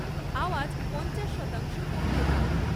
আওয়াজ পঞ্চাশ শতাংশ কমিয়ে দাও